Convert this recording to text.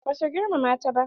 Ba za su girmama ta ba.